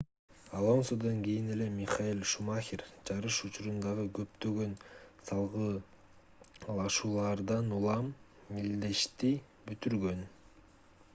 алонсодон кийин эле михаэль шумахер жарыш учурундагы көптөгөн салгылашуулардан улам мелдешти бүтүргөн